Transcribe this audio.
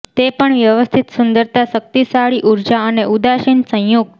તે પણ વ્યવસ્થિત સુંદરતા શક્તિશાળી ઊર્જા અને ઉદાસીન સંયુક્ત